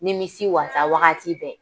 Ni misi wasa wagati bɛɛ.